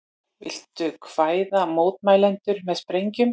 Vildu hræða mótmælendur með sprengjum